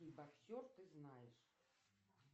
и боксер ты знаешь